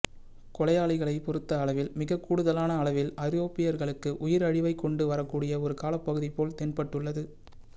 கொலையாளிகளை பொறுத்த அளவில் மிக கூடுதலான அளவில் ஐரோப்பியர்களுக்கு உயிர் அழிவை கொண்டு வரக்கூடிய ஒரு காலப்பகுதி போல் தென்பட்டுள்ளது